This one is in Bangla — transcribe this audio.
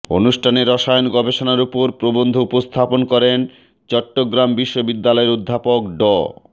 অনুষ্ঠানে রসায়ন গবেষণার ওপর প্রবন্ধ উপস্থাপন করেন চট্টগ্রাম বিশ্ববিদ্যালয়ের অধ্যাপক ড